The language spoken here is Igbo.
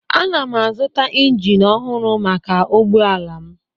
Ana m azụta injin ọhụrụ maka ụgbọ ala m